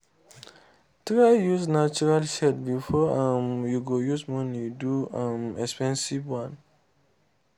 try use natural shade before um you go use money do um expensive one